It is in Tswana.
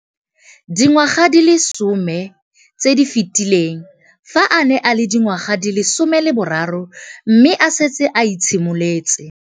Dingwaga di le 10 tse di fetileng, fa a ne a le dingwaga di le 23 mme a setse a itshimoletse